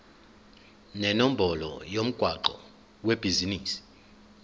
nenombolo yomgwaqo webhizinisi